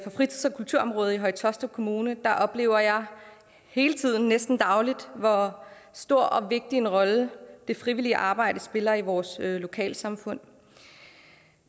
fritids og kulturområdet i høje taastrup kommune oplever jeg hele tiden næsten dagligt hvor stor og vigtig en rolle det frivillige arbejde spiller i vores lokalsamfund